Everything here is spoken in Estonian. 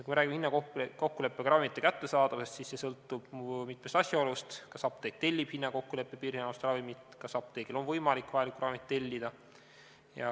" Kui me räägime hinnakokkuleppega ravimite kättesaadavusest, siis see sõltub mitmest asjaolust: kas apteek tellib hinnakokkuleppega piirhinnastatud ravimit, kas apteegil on võimalik vajalikku ravimit tellida.